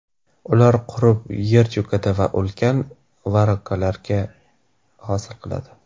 Ular qurib, yer cho‘kadi va ulkan voronkalarni hosil qiladi.